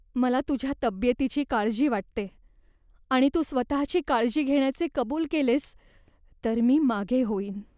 मला तुझ्या तब्येतीची काळजी वाटते आणि तू स्वतःची काळजी घेण्याचे कबूल केलेस तर मी मागे होईन.